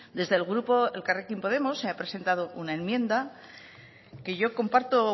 desde el grupo elkarrekin podemos se ha presentado una enmienda que yo comparto